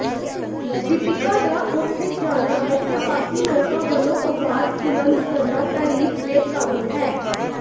ਦੀਪਿਕਾ ਦਾ ਉਥੇ ਜਾਣਾ ਅਤੇ ਬਾਕੀ ਲੋਕਾਂ ਵਲੋਂ ਆਵਾਜ਼ ਬੁਲੰਦ ਕਰਨਾ ਤਾਰੀਫ ਦੇ ਕਾਬਿਲ ਹੈ